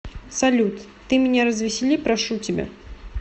салют ты меня развесели прошу тебя